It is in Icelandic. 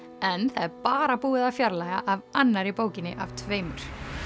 en það er bara búið að fjarlægja af annarri bókinni af tveimur